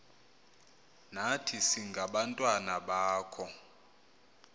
nathi singabantwana bakho